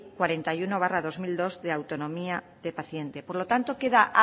cuarenta y uno barra dos mil dos de autonomía de pacientes por lo tanto queda